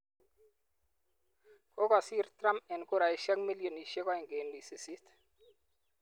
Kagosiir Trump eng kuraisiek milionisiek 2.8.